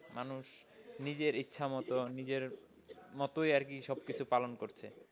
মানুষ নিজের ইচ্ছামত, নিজের মতোই আরকি সবকিছু পালন করছে।